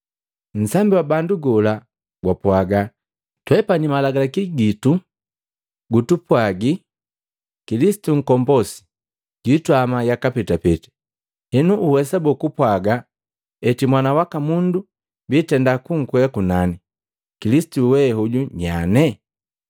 Nsambi wa bandu gola gwapwaga, “Twepani Malagalaki jitu jitupwagi Kilisitu nkombosi jwitama yaka petapeta. Henu uwesa boo kupwaga eti Mwana waka Mundu biitenda kunkwea kunani? Kilisitu wee hoju nyane?”